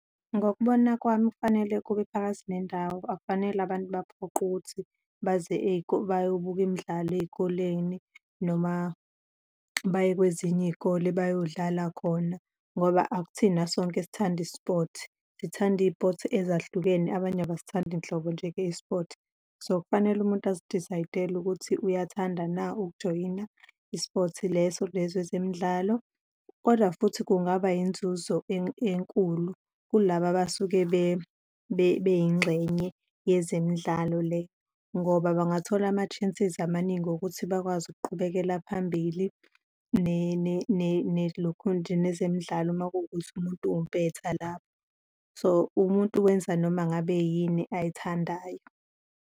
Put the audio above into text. Ngokubona kwami kufanele kube phakathi nendawo, akufanele abantu baphoqwe ukuthi baze bayobuka imidlalo ey'koleni noma baye kwezinye iy'kole bayodlala khona, ngoba akuthina sonke esithanda i-sport, sithanda iy'-sport ezahlukene, abanye abasithandi nhlobo njenge i-sport. So, kufanele umuntu azi-decide-ele ukuthi uyathanda na ukujoyina i-sport leso lezo ezemidlalo. Kodwa futhi kungaba yinzuzo enkulu kulaba abasuke beyingxenye yezemidlalo le, ngoba bangathola ama-chances amaningi okuthi bakwazi ukuqhubekela phambili nelukhunja nezemidlalo uma kuwukuthi umuntu uwumpetha lapho. So, umuntu wenza noma ngabe yini ayithandayo.